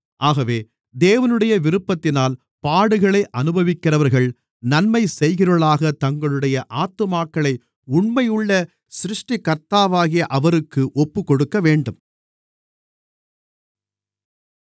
ஆகவே தேவனுடைய விருப்பத்தினால் பாடுகளை அனுபவிக்கிறவர்கள் நன்மை செய்கிறவர்களாகத் தங்களுடைய ஆத்துமாக்களை உண்மையுள்ள சிருஷ்டிகர்த்தாவாகிய அவருக்கு ஒப்புக்கொடுக்கவேண்டும்